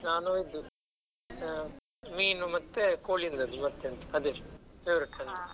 ನಾನು ಇದು ಆ ಮೀನು ಮತ್ತೆ ಕೋಳಿ .